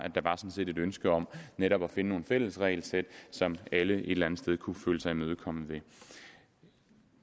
et ønske om netop at finde nogle fælles regelsæt som alle et eller andet sted kunne føle sig imødekommet ved